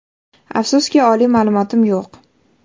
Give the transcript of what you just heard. Afsuski, oliy ma’lumotim yo‘q.